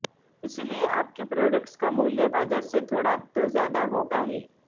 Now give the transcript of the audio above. इसलिए आपके प्रोडक्ट्स का मूल्य बाजार से थोड़ा तो ज्यादा होगा ही